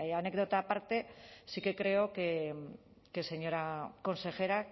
anécdota aparte sí que creo que señora consejera